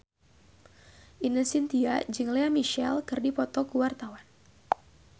Ine Shintya jeung Lea Michele keur dipoto ku wartawan